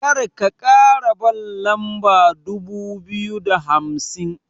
Karka kara ban lamba dubu biyu da hamsin.